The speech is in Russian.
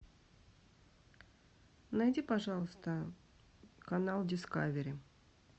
найди пожалуйста канал дискавери